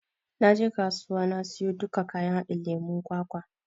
Na je kasuwa na siyo duka kayan haɗin lemon kwakwa.